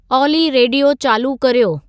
ऑली रेडियो चालू कर्यो